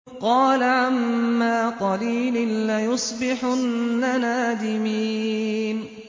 قَالَ عَمَّا قَلِيلٍ لَّيُصْبِحُنَّ نَادِمِينَ